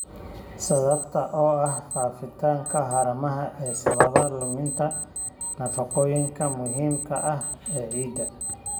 Sababta oo ah faafitaanka haramaha ee sababa luminta nafaqooyinka muhiimka ah ee ciidda.